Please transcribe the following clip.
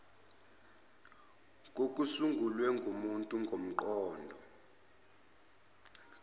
kokusungulwe ngumuntu ngomqondo